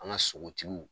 An ka sogotigiw